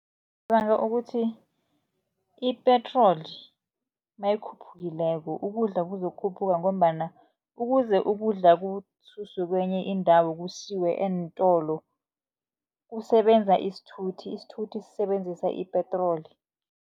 Ngicabanga ukuthi ipetroli nayikhuphukileko ukudla kuzokukhuphuka, ngombana ukuze ukudla kususwe kenye indawo kusiwe eentolo kusebenza isithuthi, isithuthi sisebenzisa ipetroli.